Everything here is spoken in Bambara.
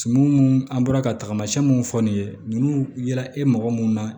mun an bɔra ka tamasiyɛn mun fɔ nin ye ninnu ye e magɔ mun na